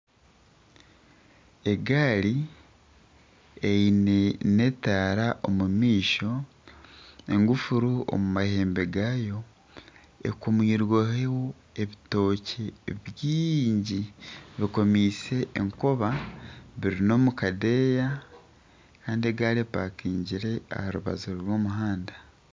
Egaari eine n'etaara omu maisho, engufuru omu mahembe gaayo, ekomirweho ebitookye bingi bikomiise enkoba biri n'omu kadeeya kandi egari epakaingire aha rubaju rw'omuhanda